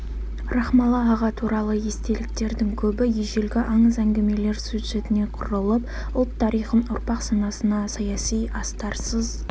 рахмалы аға туралы естеліктердің көбі ежелгі аңыз әңгімелер сюжетіне құрылып ұлт тарихын ұрпақ санасына саяси астарсыз